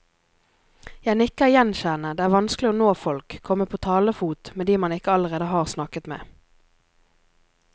Jeg nikker gjenkjennende, det er vanskelig å nå folk, komme på talefot med de man ikke allerede har snakket med.